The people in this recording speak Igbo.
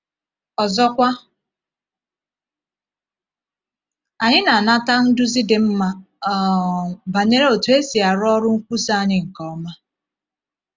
Ọzọkwa, anyị na-anata nduzi dị mma um banyere otú e si arụ ọrụ nkwusa anyị nke ọma.